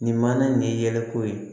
Nin mana nin yɛlɛko ye